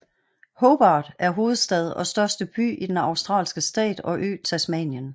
Hobart er hovedstad og største by i den australske stat og ø Tasmanien